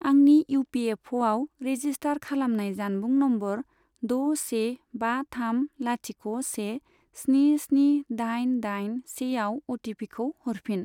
आंनि इउपिएफअ आव रेजिस्टार खालामनाय जानबुं नम्बर द' से बा थाम लाथिख' से स्नि स्नि दाइन दाइन से आव अटिपिखौ हरफिन।